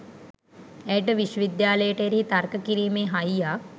ඇයට විශ්ව විද්‍යාලයට එරෙහිව තර්ක කිරීමේ හයියක්